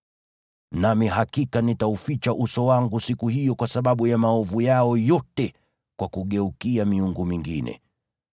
Nami hakika nitauficha uso wangu siku hiyo kwa sababu ya maovu yao yote kwa kugeukia miungu mingine.